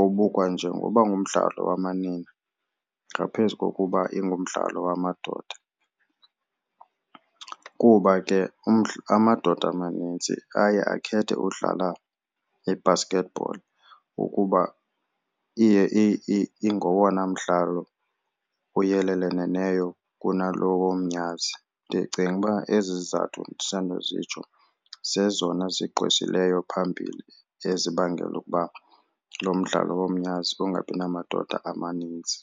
obukwa njengoba ngumdlalo wamanina ngaphezu kokuba ingumdlalo wamadoda, kuba ke amadoda amanintsi aye akhethe udlala i-basketball ukuba iye ingowona mdlalo uyeleleleneyo kunalo womnyazi. Ndicinga uba ezi zizathu ndisandozitsho zitsho zezona zigqwesileyo phambili ezibangela ukuba lo mdlalo womnyazi ungabi namadoda amaninzi.